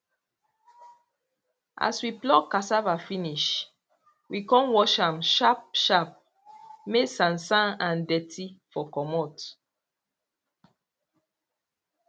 as we pluck cassava finish we con wash am sharp sharp may sansan and dirty for comot